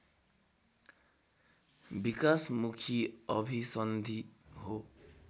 विकासमुखी अभिसन्धि हो